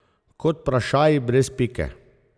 Kot vprašaji brez pike.